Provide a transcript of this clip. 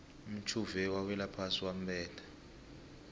umtjhuve wawelaphasi wambetha